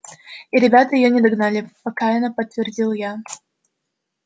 и ребята её не догнали покаянно подтвердил я